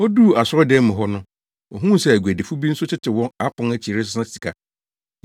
Oduu asɔredan no mu hɔ no, ohuu sɛ aguadifo bi nso tete wɔn apon akyi resesa sika.